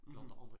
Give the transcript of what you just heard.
Mh